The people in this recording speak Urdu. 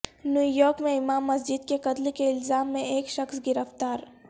نیویارک میں امام مسجد کے قتل کے الزام میں ایک شخص گرفتار